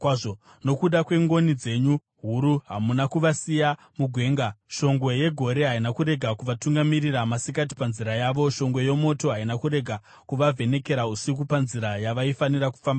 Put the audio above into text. “Nokuda kwengoni dzenyu huru hamuna kuvasiya mugwenga. Shongwe yegore haina kurega kuvatungamirira masikati panzira yavo, shongwe yomoto haina kurega kuvavhenekera usiku panzira yavaifanira kufamba nayo.